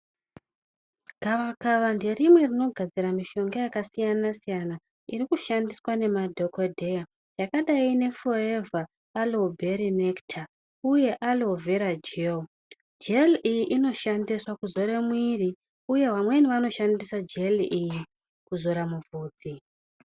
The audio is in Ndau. Gavakaba nderimwe rinogadzira mishonga yakasiyana-siyana, iri kushandiswa nemadhokodheya yakadai nefoevha ,alovhera nekita uye alovhera jeli. Jeli iyi inoshandiswa kuzore mwiiri, uye vamweni vanoshandisa jeli iyi, kuzora muvhudzi.